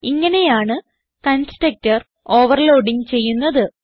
ഇങ്ങനെയാണ് constructor overloading ചെയ്യുന്നത്